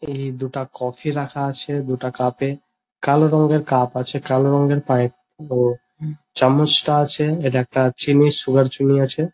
এই দুইটা কফি রাখা আছে দুটা কাপ এ কালো রংয়ের কাপ আছে কালো রঙের চামচটা আছে এটা একটা চিনি সুগার চিনি আছে।